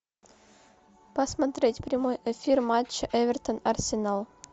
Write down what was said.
посмотреть прямой эфир матча эвертон арсенал